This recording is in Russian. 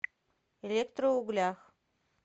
электроуглях